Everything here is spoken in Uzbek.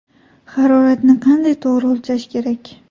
Haroratni qanday to‘g‘ri o‘lchash kerak?.